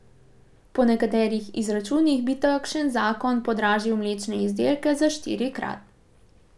Po nekaterih izračunih bi takšen zakon podražil mlečne izdelke za štirikrat.